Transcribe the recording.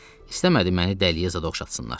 İstəmədi məni dəliyə zad oxşatsınlar.